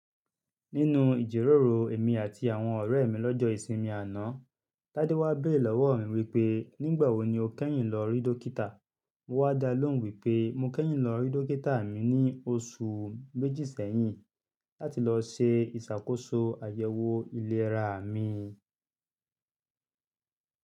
Nínu ìjèròrò èmi àti àwọn ọ̀rẹ́ mi lọ́jọ́ ìsinmi àná, Tádé wá béèrè lọ́wọ́ mi wípé, "nígbà wo ni o kẹ́yìn lọ rí dókítà?" Mo wá dá lóhùn wípé, mo kẹ́yìn lọ rí dókítà mi ní oṣù méjì sẹ́yìn láti lọ ṣe ìṣàkóso àyẹ̀wò iléra mi.